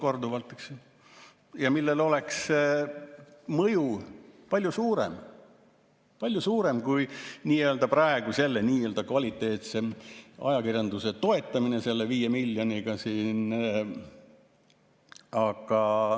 mõju oleks suurem, kui praegu selle nii-öelda kvaliteetse ajakirjanduse toetamine 5 miljoniga.